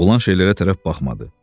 Oğlan şeylərə tərəf baxmadı.